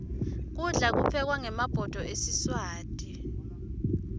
kudla kuphekwa ngemabhudo esiswati